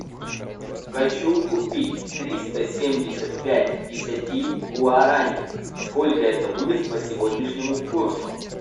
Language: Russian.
хочу купить триста семьдесят пять десяти гуарани сколько это будет по сегодняшнему курсу